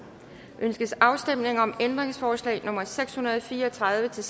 ønskes afstemning om ændringsforslag nummer seks hundrede og fire og tredive til